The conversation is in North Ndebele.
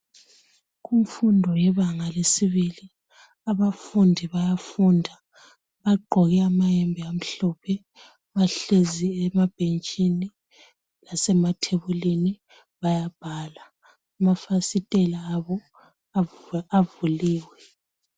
Kumfundo yebanga lesibili abafundi bayafunda. Bagqoke amayembe amhlophe bahlezi emabhentshini lasemathebulini bayabhala. Amafasitela abo avuliwe.